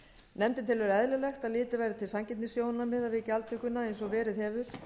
nefndin telur eðlilegt að litið verði til sanngirnissjónarmiða við gjaldtökuna eins og verið hefur